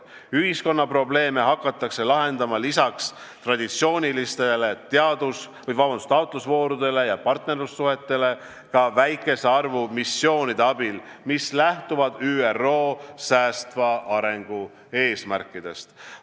Ühiskonna probleeme hakatakse lahendama lisaks traditsioonilistele taotlusvoorudele ja partnerlussuhetele ka väikese arvu missioonide abil, mis lähtuvad ÜRO säästva arengu eesmärkidest.